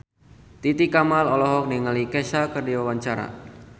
Titi Kamal olohok ningali Kesha keur diwawancara